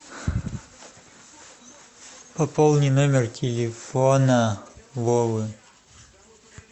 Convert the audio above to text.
пополни номер телефона вовы